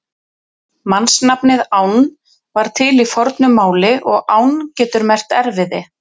Mannsnafnið Ánn var til í fornu máli og ánn getur merkt erfiði.